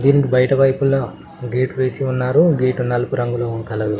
దీనికి బయట వైపులా గేటు వేసి ఉన్నారు గేటు నలుపు రంగులో కలరు .